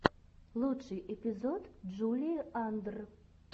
лучший эпизод джулии андр